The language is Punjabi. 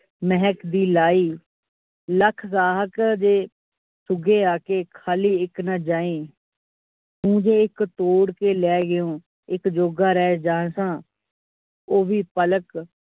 ਮਹਿਕ ਦੀ ਲਾਈ ਲੱਖ ਗਾਹਕ ਅਜਿਹੇ ਪੂਗੇ ਆ ਕੇ ਖਾਲੀ ਇਕ ਨਾ ਜਾਈ ਤੂੰ ਜੇ ਇਕ ਤੋੜ ਕੇ ਲੈ ਗਏ ਓ ਇਕ ਜੋਗਾ ਰਹਿ ਜਾ ਸਾ ਉਹ ਵੀ ਪਲ਼ਕ ।